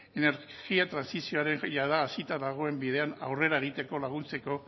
energia trantsizioaren jada hasita dagoen bidean aurrera egiteko laguntzeko